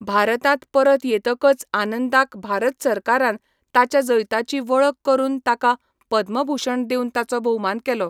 भारतांत परत येतकच आनंदाक भारत सरकारान ताच्या जैताची वळख करून ताका 'पद्मभूषण' दिवन ताचो भोवमान केलो.